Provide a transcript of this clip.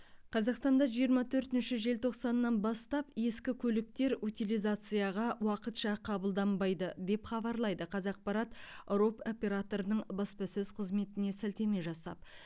қазақстанда жиырма төртінші желтоқсаннан бастап ескі көліктер утилизацияға уақытша қабылданбайды деп хабарлайды қазақпарат роп операторының баспасөз қызметіне сілтеме жасап